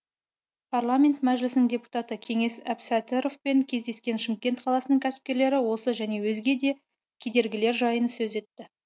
парламент мәжілісінің депутаты кеңес әбсәтіровпен кездескен шымкент қаласының кәсіпкерлері осы және өзге де кедергілер жайын сөз етті